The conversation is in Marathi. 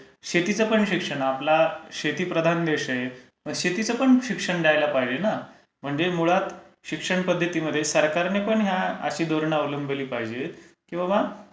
शेतीच पण शिक्षण असते. आपला शेतीप्रधान देश आहे. शेतीचं पण शिक्षण द्यायला पाहिजे ना. म्हणजे मूळात शिक्षणपध्दतीमध्ये सरकारने पण ह्या अशा धोरणं अवलंबिली पाहिजेत की बाबा,